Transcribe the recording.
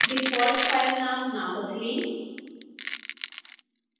default file नाम न बदलें